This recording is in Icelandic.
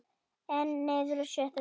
Einn niður og sjötta sætið.